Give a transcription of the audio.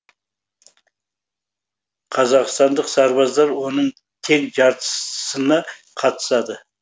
қазақстандық сарбаздар оның тең жартысына қатысады